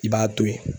I b'a to ye